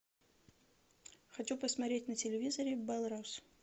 хочу посмотреть на телевизоре белрос